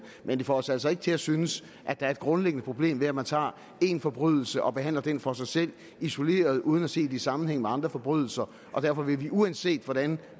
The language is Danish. men det får os altså ikke til ikke at synes at der er et grundlæggende problem ved at man tager en forbrydelse og behandler den for sig selv isoleret set uden at se den i sammenhæng med andre forbrydelser og derfor vil vi uanset hvordan